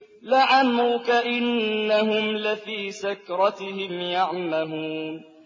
لَعَمْرُكَ إِنَّهُمْ لَفِي سَكْرَتِهِمْ يَعْمَهُونَ